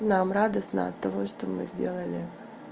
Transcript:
нам радостно от того что мы сделали